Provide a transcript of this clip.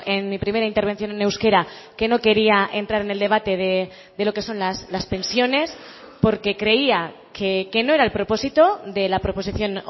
en mi primera intervención en euskera que no quería entrar en el debate de lo que son las pensiones porque creía que no era el propósito de la proposición